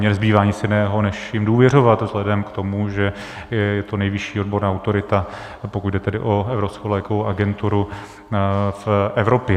Mně nezbývá nic jiného než jim důvěřovat vzhledem k tomu, že je to nejvyšší odborná autorita, pokud jde tedy o Evropskou lékovou agenturu, v Evropě.